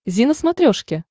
зи на смотрешке